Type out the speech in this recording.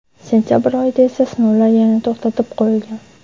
Sentabr oyida esa sinovlar yana to‘xtatib qo‘yilgan.